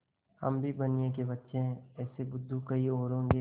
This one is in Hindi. हम भी बनिये के बच्चे हैं ऐसे बुद्धू कहीं और होंगे